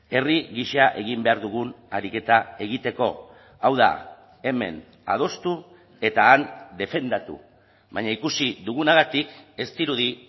herri gisa egin behar dugun ariketa egiteko hau da hemen adostu eta han defendatu baina ikusi dugunagatik ez dirudi